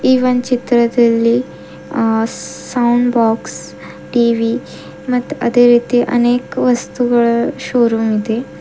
ಈ ಒನ್ ಚಿತ್ರದಲ್ಲಿ ಆ ಸೌಂಡ್ ಬಾಕ್ಸ್ ಟಿ_ವಿ ಮತ್ ಅದೇ ರೀತಿ ಅನೇಕ ವಸ್ತುಗಳ ಶೋರೂಮ್ ಇದೆ.